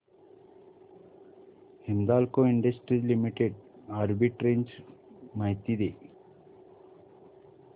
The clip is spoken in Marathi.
हिंदाल्को इंडस्ट्रीज लिमिटेड आर्बिट्रेज माहिती दे